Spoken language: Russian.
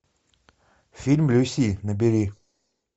фильм люси набери